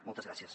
moltes gràcies